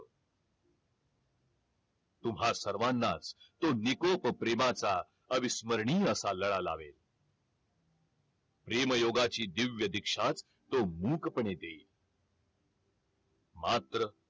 तुम्हा सर्वांना तो निकोप प्रेमाचा अविस्मरणीय असा लळा लावेल प्रेम योगाची दिव्या दीक्षा तो मूकपणे देई मात्र